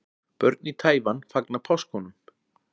Börn í Taívan fagna páskunum.